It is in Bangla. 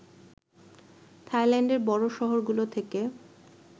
থাইল্যান্ডের বড় শহরগুলো থেকে